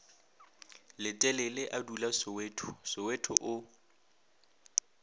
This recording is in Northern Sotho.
letelele a dulasoweto soweto o